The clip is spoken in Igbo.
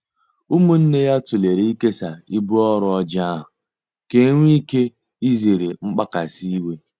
Umunne ya tulere ikesaa ibu ọrụ Ojii ahụ ka enwe ike izere mgbakasị iwe.